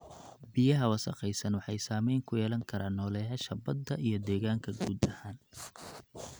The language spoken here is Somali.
Biyaha wasakhaysan waxay saameyn ku yeelan karaan nooleyaasha badda iyo deegaanka guud ahaan.